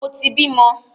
Mo ti bímọ!